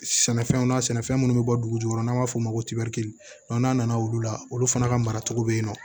Sɛnɛfɛnw na sɛnɛfɛn munnu bɛ bɔ dugujukɔrɔ n'an b'a f'o ma ko n'a nana olu la olu fana ka mara cogo be yen nɔ